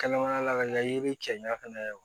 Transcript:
Kɛnɛmana la ka ɲa yiri cɛ ɲa fɛnɛ